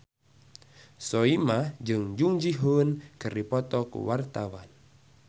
Soimah jeung Jung Ji Hoon keur dipoto ku wartawan